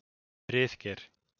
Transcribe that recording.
Friðgeir